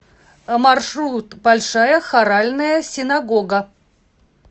маршрут большая хоральная синагога